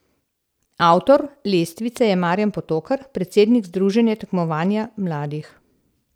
Avtor lestvice je Marjan Potokar, predsednik Združenja tekmovanja mladih.